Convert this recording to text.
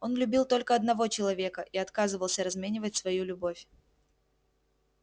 он любил только одного человека и отказывался разменивать свою любовь